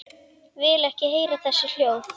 Vil ekki heyra þessi hljóð.